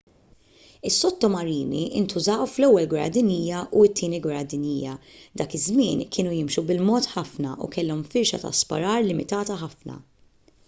is-sottomarini ntużaw fl-ewwel gwerra dinjija u t-tieni gwerra dinjija dak iż-żmien kienu jimxu bil-mod ħafna u kellhom firxa ta' sparar limitata ħafna